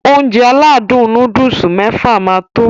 Ounjẹ aládùn nóódùsì mẹ́fà máa tó